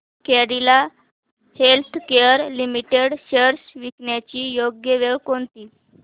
Cadila healthcare limited shares विकण्याची योग्य वेळ कोणती